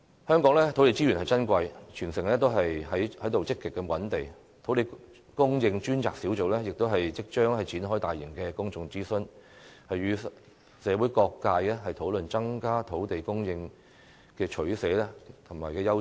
香港土地資源珍貴，全城都在積極覓地，土地供應專責小組即將展開大型公眾諮詢，與社會各界討論增加土地供應的取捨和優次。